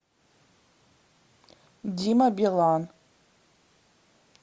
дима билан